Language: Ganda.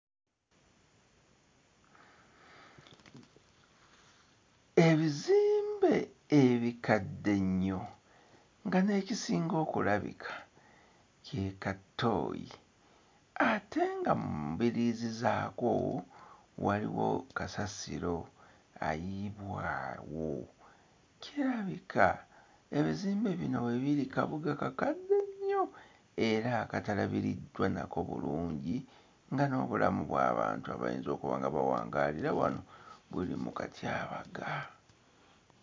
Ebizimbe ebikadde ennyo nga n'ekisinga okulabika ke ka ttooyi ate nga mu mbiriizi zaako waliwo kasasiro ayiibwa awo, kirabika ebizimbe bino we biri kabuga kakadde nnyo era akatalabiriddwa nako bulungi nga n'obulamu bw'abantu abayinza okuba nga bawangaalira wano buli mu katyabaga.